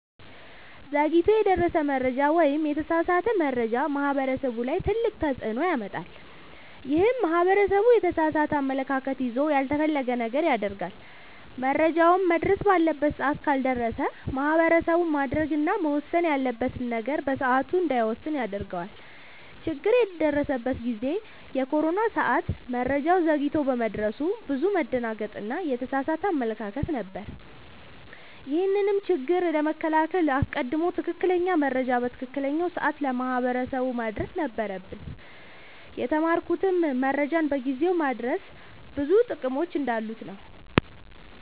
ዘግይቶ የደረሰ መረጃ ወይም የተሳሳተ መረጃ ማህበረሰቡ ላይ ትልቅ ተፅዕኖ ያመጣል። ይህም ማህበረሰቡ የተሳሳተ አመለካከት ይዞ ያልተፈለገ ነገር ያደርጋል። መረጃውም መድረስ ባለበት ሰዓት ካልደረሰ ማህበረሰቡ ማድረግ እና መወሰን ያለበትን ነገር በሰዓቱ እንዳይወስን ያደርገዋል። ችግር የደረሰበት ጊዜ የኮሮና ሰዓት መረጃው ዘግይቶ በመድረሱ ብዙ መደናገጥ እና የተሳሳተ አመለካከት ነበር። ይህንንም ችግር ለመከላከል አስቀድሞ ትክክለኛ መረጃ በትክክለኛው ሰዓት ለማህበረሰቡ ማድረስ ነበረብን። የተማርኩትም መረጃን በጊዜው ማድረስ ብዙ ጥቅሞች እንዳሉት ነወ።